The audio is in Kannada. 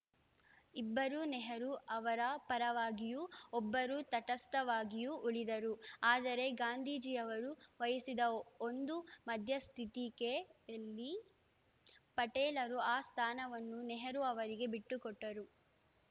ಇಬ್ಬರು ನೆಹರು ಅವರ ಪರವಾಗಿಯೂ ಒಬ್ಬರು ತಟಸ್ಥವಾಗಿಯೂ ಉಳಿದರು ಆದರೆ ಗಾಂಧೀಜಿಯವರು ವಹಿಸಿದ ಒಂದು ಮಧ್ಯ ಸ್ಥಿಕೆಯಲ್ಲಿ ಪಟೇಲರು ಆ ಸ್ಥಾನವನ್ನು ನೆಹರು ಅವರಿಗೆ ಬಿಟ್ಟುಕೊಟ್ಟರು